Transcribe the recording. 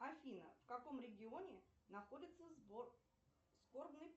афина в каком регионе находится сбор скорбный